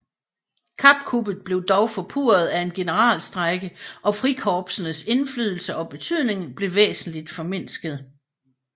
Kappkuppet blev dog forpurret af en generalstrejke og frikorpsenes indflydelse og betydning blev væsentligt formindsket